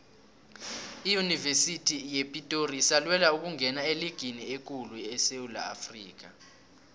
iyunivesithi yepitori isalwela ukungena eligini ekulu esewula afrikha